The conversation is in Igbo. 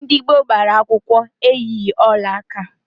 Ndị gboo gbara akwụkwọ eyighi ọlaaka